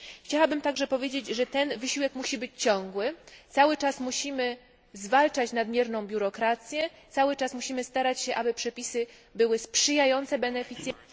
Chciałabym także powiedzieć, że ten wysiłek musi być ciągły, cały czas musimy zwalczać nadmierną biurokrację, cały czas musimy starać się, aby przepisy były sprzyjające beneficjentom.